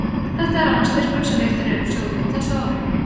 Þetta er annar styrkurinn sem veittur er úr sjóðnum á þessu ári.